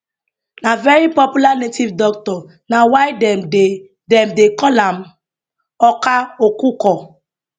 na very popular native doctor na why dem dey dem dey call am akwa okuko